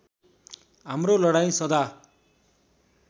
हाम्रो लडाईँँ सदा